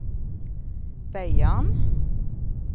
Beiarn